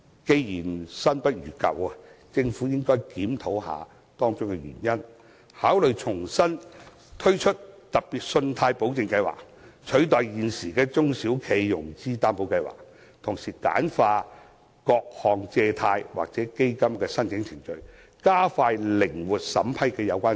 既然新不如舊，政府應檢討箇中原因，考慮重新推出特別信貸保證計劃，取代現時的中小企融資擔保計劃，同時簡化各項借貸或基金的申請程序，加快靈活審批。